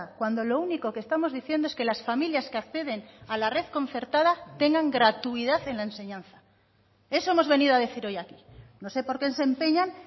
cuando lo único que estamos diciendo es que las familias que acceden a la red concertada tengan gratuidad en la enseñanza eso hemos venido a decir hoy aquí no sé por qué se empeñan